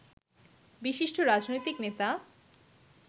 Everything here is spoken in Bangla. বিশিষ্ট রাজনৈতিক নেতা